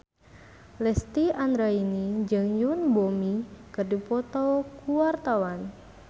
Lesti Andryani jeung Yoon Bomi keur dipoto ku wartawan